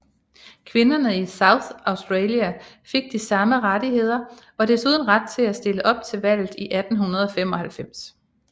Kvinderne i South Australia fik de samme rettigheder og desuden ret til at stille op til valget i 1895